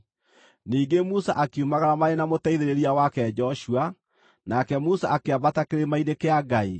Ningĩ Musa akiumagara marĩ na mũteithĩrĩria wake Joshua, nake Musa akĩambata kĩrĩma-inĩ kĩa Ngai.